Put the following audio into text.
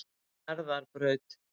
Njarðarbraut